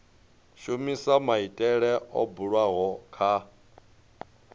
shumisa maitele o bulwaho kha